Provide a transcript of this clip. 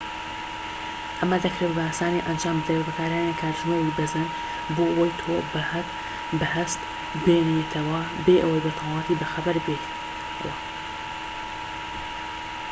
ئەمە دەکرێت بە ئاسانی ئەنجام بدرێت بە بەکارهێنانی کاتژمێری بە زەنگ بۆ ئەوەی تۆ بە هەست بێنێتەوە بێ ئەوەی بە تەواوی بەخەبەر بێیتەوە